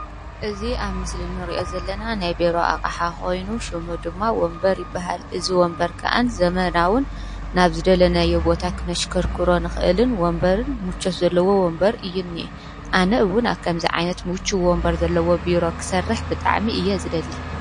እዚ ኣብ ምስሊ ንሪኦ ዘለና ናይ ቢሮ ኣቅሓ ኮይኑ ሽሙ ድማ ወንበር ይበሃ፤ እዚ ውንበር ከዓ ዘመናዉን ናብ ዝደለናዮ ቦታ ክነሽከርክሮን ወንበርን ምቾት ዘለዎ ወንበር እዩ እኒአ ፤ኣነ እዉን ኣብ ከምዚ ዓይነት ምቹው ወንበር ዘለዎ ቢሮ ክሰርሕ ብጣዕሚ'ዩ ዝደሊ ።